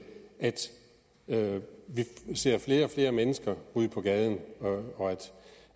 at vi ser flere og flere mennesker ryge på gaden og